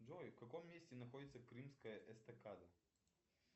джой в каком месте находится крымская эстакада